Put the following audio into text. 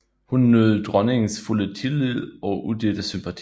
Hun nød dronningens fulde tillid og udelte sympati